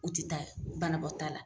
U ti taa banabɔta la.